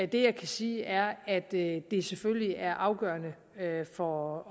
det jeg kan sige er at det selvfølgelig er afgørende for